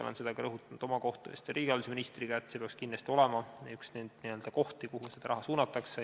Olen seda rõhutanud ka oma kohtumistel riigihalduse ministriga, et see peaks kindlasti olema üks kohti, kuhu seda raha suunatakse.